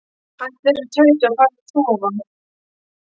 Hættu þessu tauti og farðu að sofa.